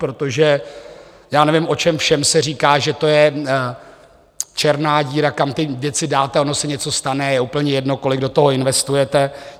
Protože já nevím, o čem všem se říká, že to je černá díra, kam ty věci dáte, ono se něco stane, je úplně jedno, kolik do toho investujete.